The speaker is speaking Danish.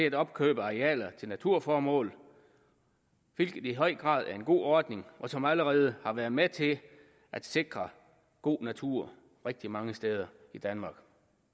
at opkøbe arealer til naturformål hvilket i høj grad er en god ordning som allerede har været med til at sikre god natur rigtig mange steder i danmark